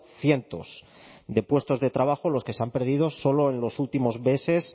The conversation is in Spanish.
cientos de puestos de trabajo los que se han perdido solo en los últimos meses